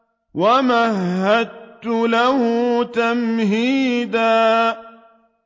وَمَهَّدتُّ لَهُ تَمْهِيدًا